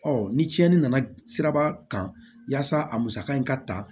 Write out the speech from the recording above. ni tiɲɛni nana siraba kan yaasa a musaka in ka ta